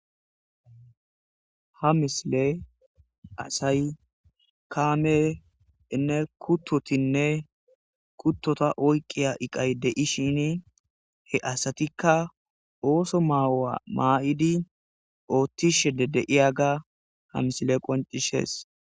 ha misile asay kaameynne kuttotinne kuttota oyqiya iqay de7ishini he asatikka ooso maawa maa7idi oottishe de7iyaga ha misile qoncisees.